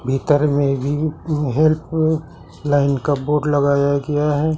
इतर मे भी हेल्प लाइन का बोर्ड लगाया गया है।